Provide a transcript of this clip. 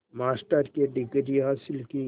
master की degree हासिल की